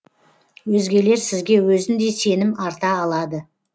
өзгелер сізге өзіндей сенім арта алады